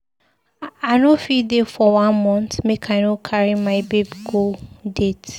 I no fit dey for one month make I no carry my babe go date.